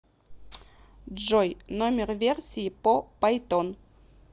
джой номер версии по пайтон